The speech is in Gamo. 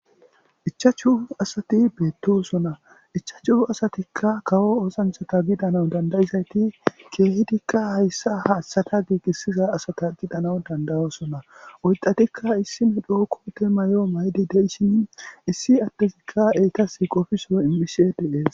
Ichchshu asati bettossona ichchashu asatika kawo oththanchata giidanawu dandiizayti kehidika hayssa ha asata giigisiza assata giidanawu danda'ossona oyddatika issi medho koote mayo mayidi deishshin issi adezikka eetas qoffiso immishe de'essi.